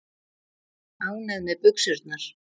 Ánægð með buxurnar.